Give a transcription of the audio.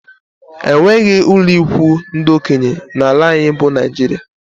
Enweghị ụlọikwuu ndị okenye n'ala anyị bụ Naijiria